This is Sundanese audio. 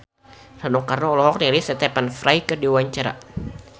Rano Karno olohok ningali Stephen Fry keur diwawancara